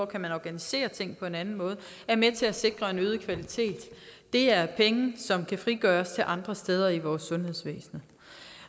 kan organiseres på en anden måde er med til at sikre en øget kvalitet det er penge som kan frigøres til andre steder i vores sundhedsvæsen